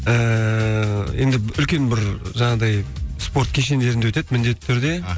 ііі енді үлкен бір жаңағындай спорт кешендерінде өтеді міндетті түрде і